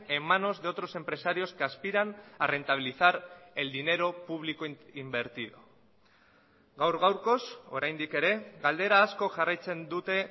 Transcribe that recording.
en manos de otros empresarios que aspiran a rentabilizar el dinero público invertido gaur gaurkoz oraindik ere galdera asko jarraitzen dute